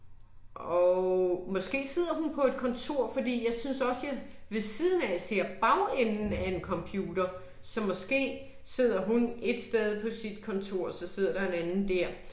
Og måske sidder hun på et kontor fordi jeg synes også jeg ved siden af ser bagenden af en computer, så måske sidder hun ét sted på sit kontor og så sidder der en anden dér